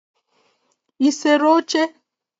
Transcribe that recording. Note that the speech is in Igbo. ị sere oche?